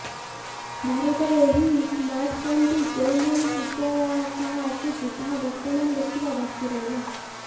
ଭାରତରେ ଏହି ସ୍ମାର୍ଟଫୋନଟି କେଉଁଭଳି ଫିଚର ସହ ଆସୁଛି ତାହା ବର୍ତ୍ତମାନ ଦେଖିବା ବାକି ରହିଲା